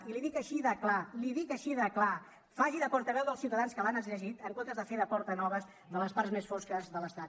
i li ho dic així de clar li ho dic així de clar faci de portaveu dels ciutadans que l’han elegit en comptes de fer de portanoves de les parts més fosques de l’estat